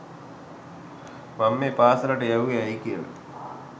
මං මේ පාසලට යැව්වෙ ඇයි කියල